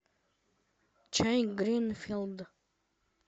чай гринфилд